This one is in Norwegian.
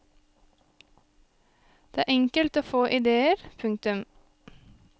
Det er enkelt å få ideer. punktum